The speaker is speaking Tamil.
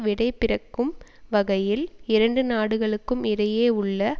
விடைபிறக்கும் வகையில் இரண்டு நாடுகளுக்கும் இடையே உள்ள